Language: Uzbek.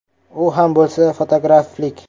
U ham bo‘lsa fotograflik.